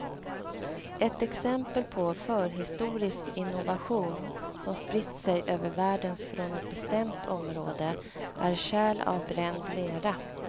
Ett exempel på förhistorisk innovation, som spritt sig över världen från ett bestämt område, är kärl av bränd lera.